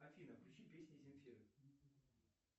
афина включи песни земфиры